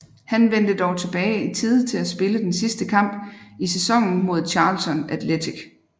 Han vendte dog tilbage i tide til at spille den sidste kamp i sæsonen mod Charlton Athletic